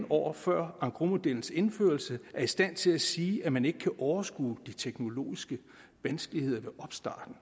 år før engrosmodellens indførelse er i stand til at sige at man ikke kan overskue de teknologiske vanskeligheder ved opstarten